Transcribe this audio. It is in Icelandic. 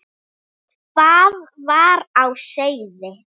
Hvað var á seyði?